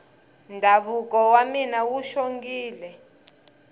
ndhavuko wa mina wu xongile